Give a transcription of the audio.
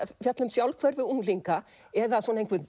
fjalla um sjálfhverfu unglinga eða einhvern